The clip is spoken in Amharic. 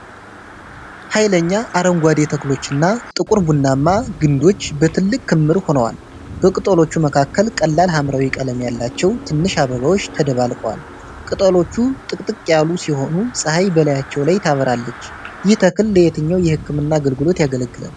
ኃይለኛ አረንጓዴ ተክሎችና ጥቁር ቡናማ ግንዶች በትልቅ ክምር ሆነዋል። በቅጠሎቹ መካከል ቀላል ሐምራዊ ቀለም ያላቸው ትናንሽ አበባዎች ተደብቀዋል። ቅጠሎቹ ጥቅጥቅ ያሉ ሲሆኑ ፀሐይ በላያቸው ላይ ታበራለች። ይህ ተክል ለየትኛው የህክምና አገልግሎት ያገለግላል?